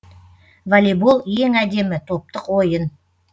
волейбол ең әдемі топтық ойын